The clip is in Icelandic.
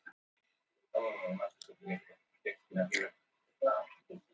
Jón Daníelsson: Af hverju voru þessir ráðamenn ekki tilbúnir með svar við dómi Hæstaréttar?